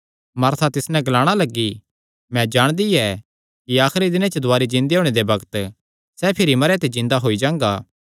मार्था तिस नैं ग्लाणा लग्गी मैं जाणदी ऐ कि आखरी दिने च दुवारी जिन्दे होणे दे बग्त सैह़ भिरी जिन्दा होई जांगा